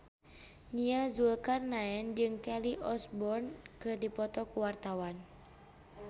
Nia Zulkarnaen jeung Kelly Osbourne keur dipoto ku wartawan